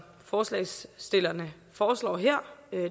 forslagsstillerne foreslår her